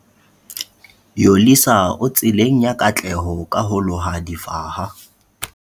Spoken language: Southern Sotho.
Yolisa o tseleng ya katleho ka ho loha difaha.